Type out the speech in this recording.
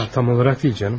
Ah, tam olaraq deyil, canım.